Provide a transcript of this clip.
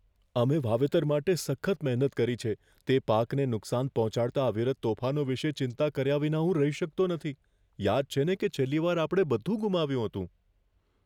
અમે વાવેતર માટે સખત મહેનત કરી છે તે પાકને નુકસાન પહોંચાડતા અવિરત તોફાનો વિષે ચિંતા કર્યા વિના હું રહી શકતો નથી. યાદ છે ને કે છેલ્લી વાર આપણે બધું ગુમાવ્યું હતું?